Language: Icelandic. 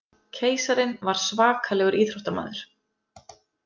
Keisarinn var svakalegur íþróttamaður.